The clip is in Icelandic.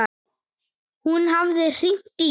Hún hafði hringt í